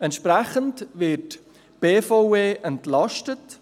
Entsprechend wird die BVE entlastet.